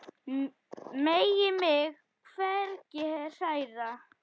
Megi mig hvergi hræra.